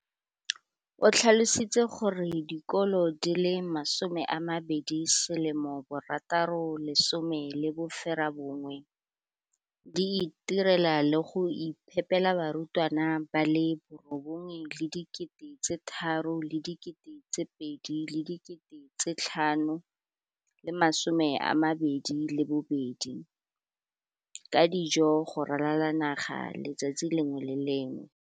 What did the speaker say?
O tlhalositse gore dikolo di le 20 619 di itirela le go iphepela barutwana ba le 9 032 622 ka dijo go ralala naga letsatsi le lengwe le le lengwe.